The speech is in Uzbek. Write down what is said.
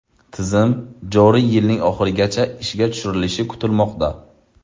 Tizim joriy yilning oxirigacha ishga tushirilishi kutilmoqda.